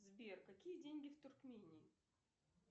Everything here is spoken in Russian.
сбер какие деньги в туркмении